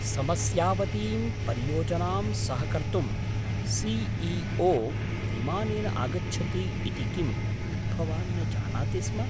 समस्यावतीं परियोजनां सहकर्तुं सि.ई.ओ. विमानेन आगच्छति इति किं भवान् न जानाति स्म?